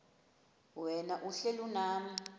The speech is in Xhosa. wena uhlel unam